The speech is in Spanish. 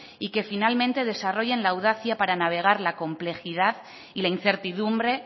y que finalmente desarrollen la audacia para navegar la complejidad y la incertidumbre